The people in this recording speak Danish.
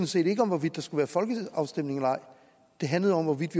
set ikke om hvorvidt der skulle være folkeafstemning eller ej det handlede om hvorvidt